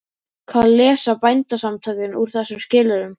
Hvað lesa Bændasamtökin úr þessum skilyrðum?